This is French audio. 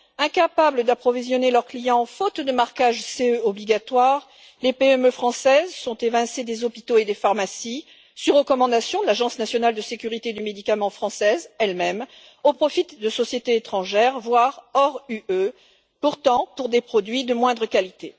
Incapables d'approvisionner leurs clients, faute de marquage CE obligatoire, les PME françaises sont évincées des hôpitaux et des pharmacies sur recommandation de l'Agence nationale de sécurité du médicament française, elle même, au profit de sociétés étrangères, voire extérieures à l'Union européenne, pourtant pour des produits de moindre qualité.